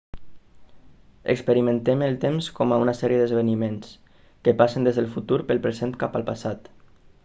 experimentem el temps com a una sèrie d'esdeveniments que passen des del futur pel present cap al passat